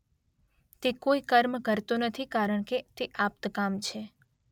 તે કોઈ કર્મ કરતો નથી કારણ કે તે આપ્તકામ છે.